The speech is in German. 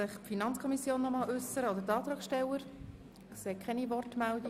Die FiKo und die Antragsteller möchten sich nicht nochmals äussern.